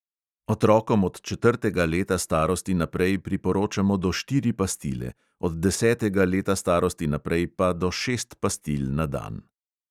Otrokom od četrtega leta starosti naprej priporočamo do štiri pastile, od desetega leta starosti naprej pa do šest pastil na dan.